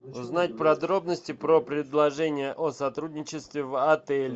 узнать подробности про предложение о сотрудничестве в отеле